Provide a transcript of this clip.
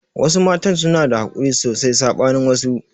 Wasu matan suna da hakuri sosai saɓanin wasu